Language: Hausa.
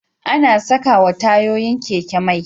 Ana sakawa tayoyin keke mai